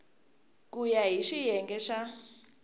ku ya hi xiyenge xa